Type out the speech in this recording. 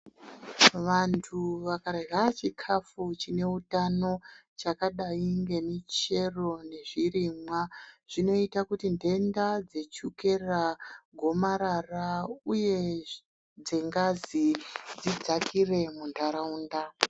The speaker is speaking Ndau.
Vandu vakarya chikafu chine utano chakadayi ngemuchero nezvirimwa zvinoita kuti ndenda dzechukera gomarara uye dzengazi dzidzakire mundaraunda.